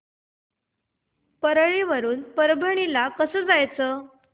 परळी वरून परभणी ला कसं जायचं